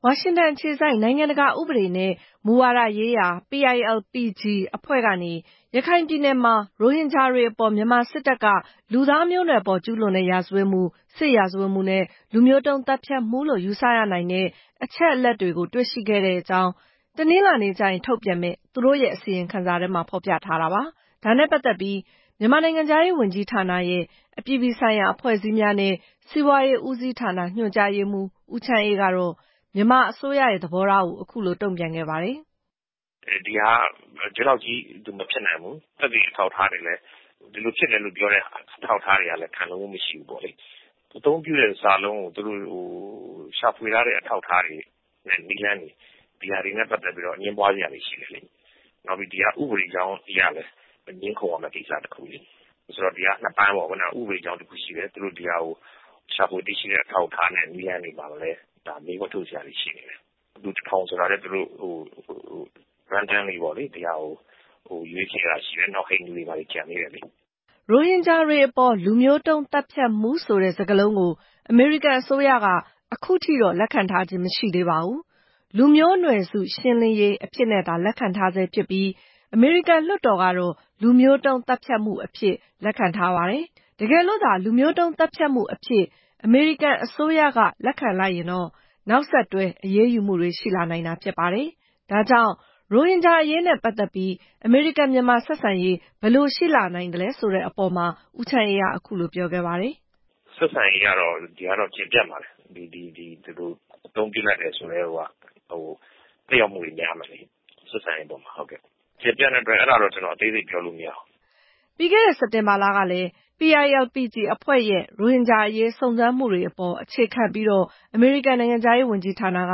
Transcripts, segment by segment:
ဝါရှင်တန်အခြေစိုက် နိုင်ငံတကာဥပဒေနဲ့ မူဝါဒရေးရာ အဖွဲ့ကနေ ရခိုင်ပြည်နယ်မှာ ရိုဟင်ဂျာတွေ အပေါ် မြန်မာစစ်တပ်က လူသားမျိုးနွယ်ပေါ် ကျူးလွန်တဲ့ ရာဇဝတ်မှု၊ စစ်ရာဇဝတ်မှုနဲ့ လူမျိုးတုံး သတ်ဖြတ်မှုလို့ ယူဆရနိုင်တဲ့ အချက်အလက်တွေကို တွေ့ရှိခဲ့တဲ့အကြောင်း တနင်္လာနေ့ကျရင် ထုတ်ပြန်မယ့် သူတို့ရဲ့ အစီရင်ခံစာထဲမှာ ဖော်ပြထားတာပါ။ ဒါနဲ့ပတ်သက်ပြီး မြန်မာနိုင်ငံခြားရေး ဝန်ကြီးဌာနရဲ့ အပြည်ပြည်ဆိုင်ရာ အဖွဲ့အစည်းများနဲ့ စီးပွားရေးဦးစီးဌာန ညွှန်ကြားရေးမှူး ဦးချမ်းအေး ကတော့ မြန်မာအစိုးရရဲ့ သဘောထားကို အခုလို တုံ့ပြန်ခဲ့ပါတယ်။ “ဒီလောက်ကြီး မဖြစ်နိုင်ဘူး။ ဒီလိုဖြစ်တယ်လို့ ပြောတဲ့ အထောက်အထား ခိုင်လုံမှုမရှိဘူး။ အသုံးပြုတဲ့ စာလုံးကို ရှာဖွေထားတဲ့ အထောက်အထားတွေနဲ့ နည်းလမ်းတွေ ဒီဟာတွေနဲ့ပတ်သက်ပြီးတော့ အငြင်းပွားစရာရှိတယ်လေ။ ဒီဟာက ဥပဒေကြောင်းအရလည်း ငြင်းခုံရမယ့် ကိစ္စတခု။ ဒီဟာက နှစ်ပိုင်းပေါ့ ဥပဒေကြောင်းတခုရှိတယ်။ ရှာဖွေတွေ့ရှိထားတဲ့ အထောက်အထားနဲ့ နည်းလမ်းတွေမှာလည်း မေးခွန်းထုတ်စရာတွေ ရှိနေတယ်။ လူ တထောင် ဆိုတာကလည်း သူတို့ ကျပန်းပေါ့လေ ရွေးချယ်တာရှိတယ်။ နောက် ဟိန္ဒူတွေ ဘာတွေ ကျန်သေးတယ်လေ” ရိုဟင်ဂျာတွေအပေါ် “လူမျိုးတုံးသတ်ဖြတ်မှု” ဆိုတဲ့ စကားလုံးကို အမေရိကန်အစိုးရက အခုထိတော့ လက်ခံထားခြင်း မရှိသေးပါဘူး။ “လူမျိုးနွယ်စုရှင်းလင်းရေး” အဖြစ်သာ လက်ခံထားဆဲဖြစ်ပြီး အမေရိကန် လွှတ်တော်ကတော့ “လူမျိုးတုံးသတ်ဖြတ်မှု” အဖြစ် လက်ခံထားပါတယ်။ တကယ်လို့သာ “လူမျိုးတုံးသတ်ဖြတ်မှု” အဖြစ် အမေရိကန်အစိုးရက လက်ခံလိုက်ရင်တော့ နောက်ဆက်တွဲ အရေးယူမှုတွေ ရှိလာနိုင်တာ ဖြစ်ပါတယ်။ ဒါကြောင့် ရိုဟင်ဂျာအရေးနဲ့ ပတ်သက်ပြီး အမေရိကန်-မြန်မာ ဆက်ဆံရေးအပေါ် ဘယ်လိုရှိလာနိုင်မလဲဆိုတဲ့အပေါ်မှာ ဦးချမ်းအေးက အခုလို ပြောခဲ့ပါတယ်။ “ဆက်ဆံရေးကတော့ ဒီဟာက ကျယ်ပြန့်ပါတယ်။ အသုံးပြုလိုက်တယ်ဆိုကတည်းကိုက သက်ရောက်မှုတွေ များမယ်လေ ဆက်ဆံရေးအပေါ်မှာ။ အသေးစိတ်တော့ ကျနော် ပြောလို့မရဘူး။” ပြီးခဲ့တဲ့ စက်တင်ဘာလကလည်း - PILPG အဖွဲ့ရဲ့ ရိုဟင်ဂျာအရေး စုံစမ်းမှုတွေအပေါ် အခြေခံပြီးတော့ အမေရိကန်နိုင်ငံခြားရေးဝန်ကြီးဌာနက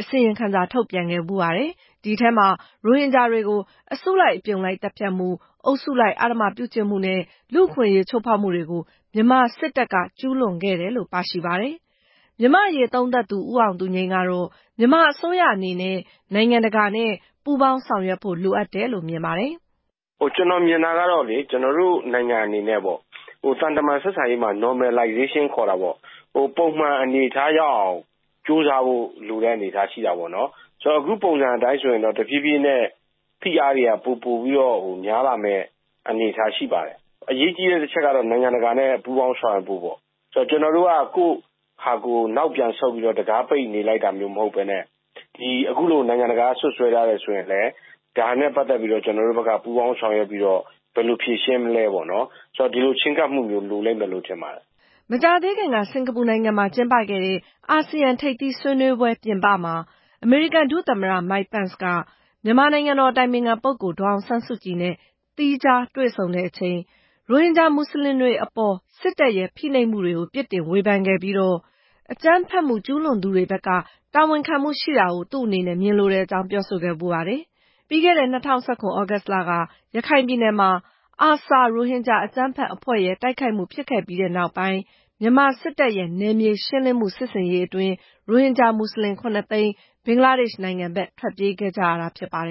အစီရင်ခံစာ ထုတ်ပြန်ခဲ့ဖူးပါတယ်။ အဲဒီထဲမှာ ရိုဟင်ဂျာတွေကို အစုလိုက် အပြုံလိုက် သတ်ဖြတ်မှုတွေ၊ အုပ်စုလိုက် အဓမ္မပြုကျင့်မှုတွေနဲ့ လူ့အခွင့်အရေးချိုးဖောက်မှုတွေကို မြန်မာစစ်တပ်က ကျူးလွန်ခဲ့တယ်လို့ ပါရှိပါတယ်။ မြန်မာ့အရေးသုံးသပ်သူ ဦးအောင်သူငြိမ်း ကတော့ မြန်မာအစိုးရအနေနဲ့ နိုင်ငံတကာနဲ့ ပူးပေါင်းဆောင်ရွက်ဖို့ လိုတယ်လို့ မြင်ပါတယ်။ “ကျနော်မြင်တာကတော့ ကျနော်တို့နိုင်ငံအနေနဲ့ သံတမန်ဆက်ဆံရေးမှာ ပုံမှန်အနေအထားရောက်အောင် ကြိုးစားဖို့ လိုတဲ့အနေအထားရှိတာပေါ့။ အခုပုံစံအတိုင်းဆိုရင်တော့ တဖြေးဖြေးနဲ့ ဖိအားတွေက ပိုပြီးတော့ များလာမယ့် အနေအထားရှိပါတယ်။ အရေးကြီးတဲ့တချက်ကတော့ နိုင်ငံတကာနဲ့ ပူးပေါင်းဆောင်ရွက်ဖို့ပေါ့ ကျနော်တို့က ကိုယ့်ဟာကိုယ် နောက်ပြန်ဆုတ်ပြီးတော့ တံခါးပိတ်နေလိုက်တာမျိုး မဟုတ်ဘဲနဲ့ အခုလို နိုင်ငံတကာက စွပ်စွဲထားတယ်ဆိုရင်လည်း ဒါနဲ့ ပတ်သက်ပြီး ကျနော်တို့ဘက်က ပူးပေါင်းဆောင်ရွက်ပြီး ဘယ်လိုဖြေရှင်းမလဲပေါ့နော်။ ဒီလို ချဉ်းကပ်မှုမျိုး လိုလိမ့်မယ်လို့ ထင်ပါတယ်” မကြာသေးခင်က စင်္ကာပူနိုင်ငံမှာ ကျင်းပခဲ့တဲ့ အာဆီယံထိပ်သီးဆွေးနွေးပွဲပြင်ပမှာ အမေရိကန်ဒုသမ္မတ Mike Pence က မြန်မာနိုင်ငံတော်အတိုင်ပင်ခံပုဂ္ဂိုလ် ဒေါ်အောင်ဆန်းစုကြည်နဲ့ သီးသန့်တွေ့ဆုံချိန် ရိုဟင်ဂျာ မွတ်စလင်တွေအပေါ် စစ်တပ်ရဲ့ ဖိနှိပ်မှုတွေကို ပြစ်တင်ဝေဖန်ခဲ့ပြီး၊ အကြမ်းဖက်မှု ကျူးလွန်သူတွေဘက်က တာဝန်ခံမှု ရှိတာကို သူ့အနေနဲ့ ကြားလိုကြောင်း ပြောဆိုခဲ့ဖူးပါတယ်။ ပြီးခဲ့တဲ့ ၂ဝ၁၇ သြဂုတ်လက ရခိုင်ပြည်နယ်မှာ ARSA ရိုဟင်ဂျာအကြမ်းဖက်အဖွဲ့ရဲ့ တိုက်ခိုက်မှုဖြစ်ခဲ့ပြီးနောက်ပိုင်း မြန်မာ စစ်တပ်ရဲ့ နယ်မြေရှင်းလင်းမှု စစ်ဆင်ရေးအတွင်း ရိုဟင်ဂျာ မွတ်စလင် ၇ သိန်း ဘင်္ဂလားဒေ့ရှ်နိုင်ငံဘက် ထွက်ပြေးခဲ့ကြတာ ဖြစ်ပါတယ်